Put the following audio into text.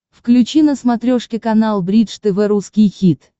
включи на смотрешке канал бридж тв русский хит